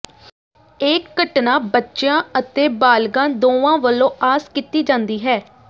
ਇਹ ਘਟਨਾ ਬੱਚਿਆਂ ਅਤੇ ਬਾਲਗਾਂ ਦੋਵਾਂ ਵਲੋਂ ਆਸ ਕੀਤੀ ਜਾਂਦੀ ਹੈ